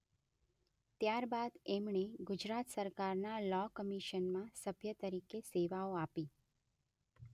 ત્યારબાદ એમણે ગુજરાત સરકારના લૉ કમિશનમાં સભ્ય તરીકે સેવાઓ આપી.